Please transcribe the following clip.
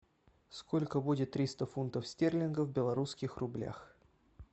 сколько будет триста фунтов стерлингов в белорусских рублях